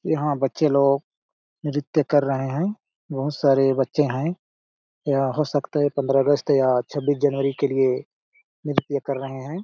यहाँ बच्चे लोग नृत्य कर रहे है बहुत सारे बच्चे हैं या हो सकता है पंद्रह अगस्त या छब्बीस जनवरी के लिए नृत्य कर रहे है।